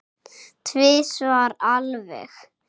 Tvisvar alveg.